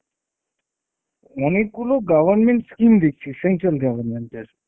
অনেকগুলো government scheme দেখছি central government এর।